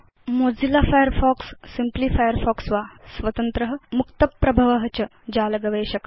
Mozilla Firefox simply Firefox वा स्वतन्त्र मुक्तप्रभव च जाल गवेषक